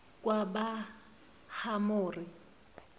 bakahamori